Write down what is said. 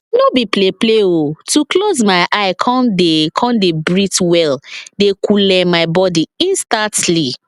no be play play o to close my eye come dey come dey breathe well dey coole my body instantly